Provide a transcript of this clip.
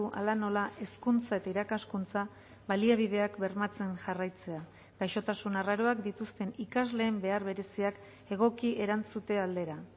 hala nola hezkuntza eta irakaskuntza baliabideak bermatzen jarraitzea gaixotasun arraroak dituzten ikasleen behar bereziak egoki erantzute aldera